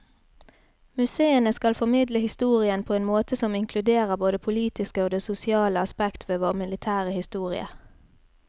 Museene skal formidle historien på en måte som inkluderer både det politiske og det sosiale aspekt ved vår militære historie.